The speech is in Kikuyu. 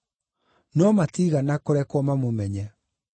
no matiigana kũrekwo mamũmenye.